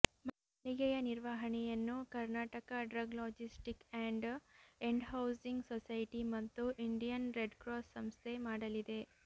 ಮಳಿಗೆಯ ನಿರ್ವಹಣೆಯನ್ನು Karnataka drug logistic and and housing society ಮತ್ತು Indian red cross ಸಂಸ್ಥೆ ಮಾಡಲಿವೆ